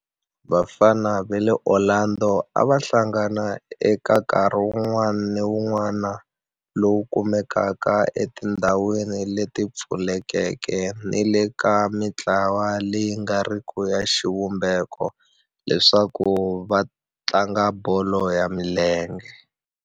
Vafana va le Orlando a va hlangana eka nkarhi wun'wana ni wun'wana lowu kumekaka etindhawini leti pfulekeke ni le ka mintlawa leyi nga riki ya xivumbeko leswaku va tlanga bolo ya milenge.